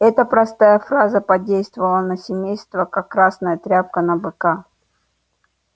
эта простая фраза подействовала на семейство как красная тряпка на быка